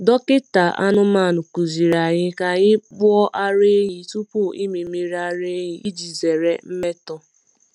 Dọkịta anụmanụ kụziri anyị ka anyị kpoo ara ehi tupu ịmị mmiri ara iji zere mmetọ.